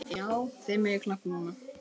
Já, þið megið klappa núna.